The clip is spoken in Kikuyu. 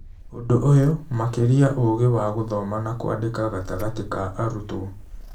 Ũndũ ũyũ, makĩria ũgĩ wa gũthoma na kwandĩka gatagatĩ ka arutwo.